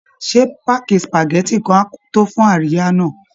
Ṣé páàkì spageti kan á tó fún àríyá náà?